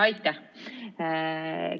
Aitäh!